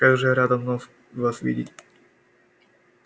как же я рада вновь вас видеть